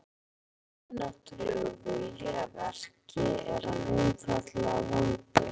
Ef þar er einhver yfirnáttúrulegur vilji að verki, er hann einfaldlega vondur.